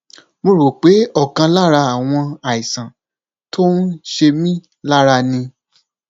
mo rò pé ọkan lára àwọn àìsàn tó ń ṣe mí lára ni